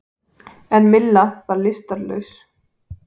En Milla var lystarlaus.